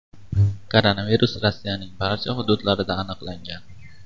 Koronavirus Rossiyaning barcha hududlarida aniqlangan.